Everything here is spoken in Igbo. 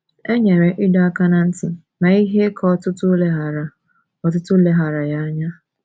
E nyere ịdọ aka ná ntị, ma ihe ka ọtụtụ leghaara ọtụtụ leghaara ya anya.